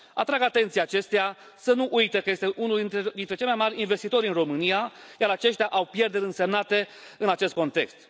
Atrag atenția acesteia să nu uite că este unul dintre cei mai mari investitori în Romania, iar aceștia au pierderi însemnate în acest context.